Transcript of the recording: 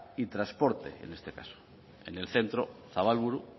y transporte en este caso en el centro zabalburu